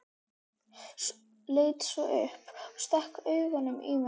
Leit svo upp og stakk augunum í mig.